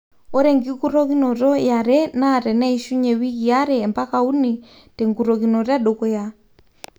ore enkurokinoto yiare naa teneishunye wikii are mpaka uni tenkurokinoto edukuya